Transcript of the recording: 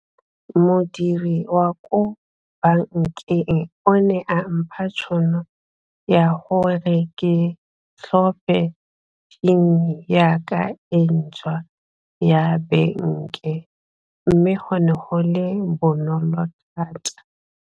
Modiri wa ko bankeng o ne a mpha tšhono ya gore ke tlhophe ya ka e ntšhwa ya mme go ne go le bonolo thata.